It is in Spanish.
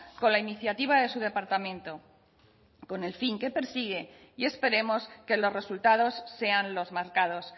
con la iniciativa de su departamento con el fin que persigue y esperemos que los resultados sean los marcados